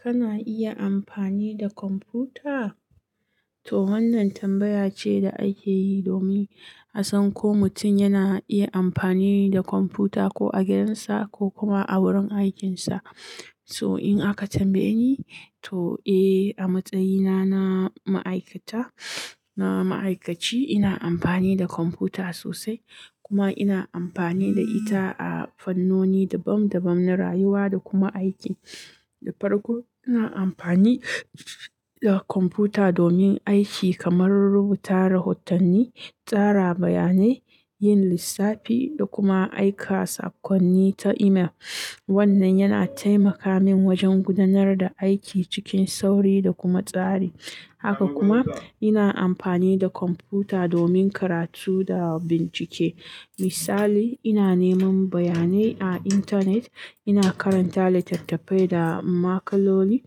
Kana iya amfani da kwamfuta? To wannan tambaya ce da ake yi domin a san ko mutum yana iya amfani da kwamfuta, ko a gidansa ko kuma a wurin aikinsa. So in aka tambaye ni, to eh, a matsayina na ma'aikata-- na ma'aikaci, ina amfani da kwamfuta sosai. Kuma ina amfani da ita a fannoni dabam dabam na rayuwa da kuma aiki. Da farko, ina amfani da kwamfuta domin aiki kamar rubuta rahotanni, tsara bayanai, yin lissafi da kuma aika saƙonni ta email. Wannan yana taimaka min wajen gudanar da aiki cikin sauri da kuma tsari. Haka kuma, ina amfani da kwamfuta domin karatu da bincike. Misali, ina neman bayanai a intanet, ina karanta littattafai da makalomi,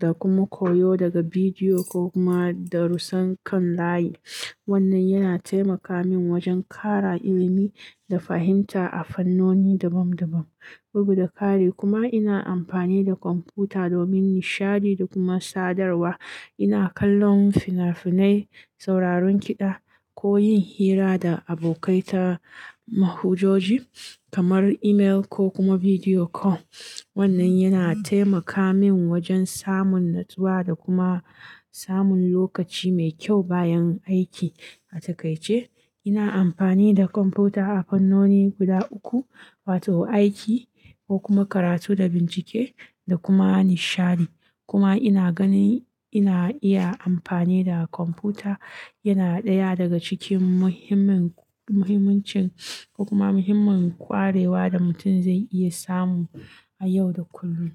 da kuma koyo daga bidiyo ko kuma darussan kan layi. Wannan yana taimaka min wajen ƙara ilimi da fahimta a fannoni dabam dabam. Bugu da ƙare kuma ina amfani da kwamfuta domin nishaɗi da kuma sadarwa. Ina kallon fina-finai, sauraron kiɗa ko yin hira da abokai ta manhajoji kamar email ko kuma video call. Wannan yana taimaka min wajen samun natsuwa da kuma samun lokaci mai kyau bayan aiki. A takaice, ina amfani da kwamfuta a fannoni guda uku, wato aiki ko kuma karatu da bincike, da kuma nishaɗi. Kuma ina ganin ina iya amfani da kwamfuta yana ɗaya daga cikin muhimmin-- muhimmancin ko kuma muhimmin ƙwarewa da mutum zai iya samu a yau da kullum.